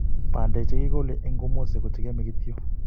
bandek chekikole eng komosi ko chekiomei kityo